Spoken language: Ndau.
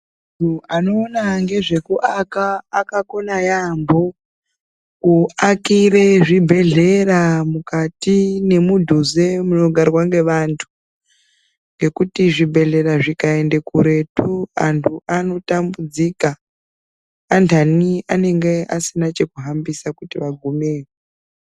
Anhu anoona ngezve kuaka akakona yaamho. Kuakire zvibhedhlera mukati nemudhuze munogarwa ngevantu, ngekuti zvebhedhlera zvikaende kuretu, antu anotambudzika. Antani anenge asina cheku hambisa kuti vagumeyo.